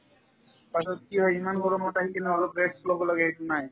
তাৰপিছত কি হয় ইমান গৰমত ঘৰত আহি কিনে অলপ rest ল'ব লাগে সেইটো নাই